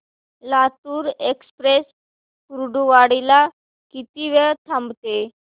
Latur express Kurduwadi ला किती वेळ थांबते